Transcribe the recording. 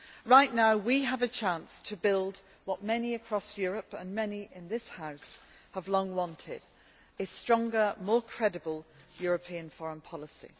Right now we have a chance to build what many across Europe and many in this House have long wanted a stronger, more credible European foreign policy.